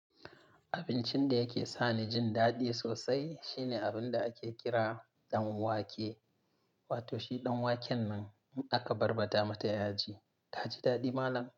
Abincin da yake sani jin daɗi sosai shine abinda ake kira dan wake wato shi dan waken nan in aka barbaɗa mata yaji taji daɗi malam.